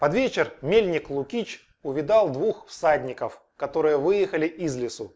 под вечер мельник лукич увидал двух всадников которые выехали из лесу